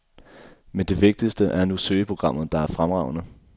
Men det vigtigste er nu søgeprogrammet, der er fremragende.